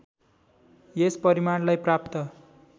यस परिणामलाई प्राप्त